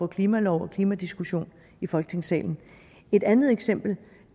klimalov og en klimadiskussion i folketingssalen et andet eksempel